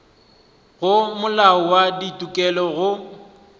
go molao wa ditokelo go